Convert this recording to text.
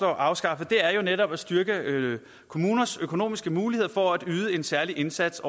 at afskaffe er netop at styrke kommunernes økonomiske muligheder for at yde en særlig indsats